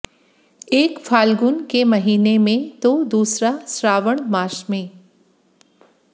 एक फाल्गुन के महीने में तो दूसरा श्रावण मास में